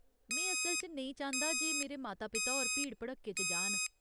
में असल च नेईं चांह्दा जे मेरे माता पिता होर भीड़ भड़क्के च जान।